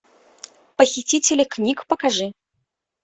похитители книг покажи